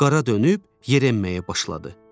Qara dönüb yerə enməyə başladı.